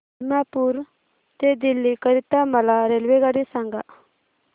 दिमापूर ते दिल्ली करीता मला रेल्वेगाडी सांगा